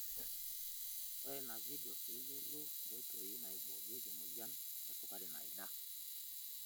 Ngura ina video pee iyiolou nkoitoi naiboorieki emoyian esukari naida.